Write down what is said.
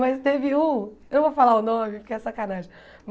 Mas teve um... Eu não vou falar o nome porque é sacanagem.